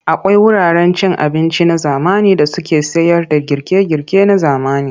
Akwai wuraren cin abinci na zamani da suke sayarda girke-girke na zamani.